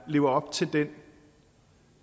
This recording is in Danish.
lever op til det